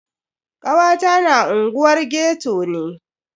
Kawata na unguwar ghetto ne.